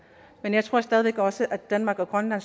men jeg tror stadig væk også at danmark og grønland